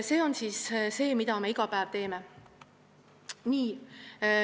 See on see, mida me iga päev teeme.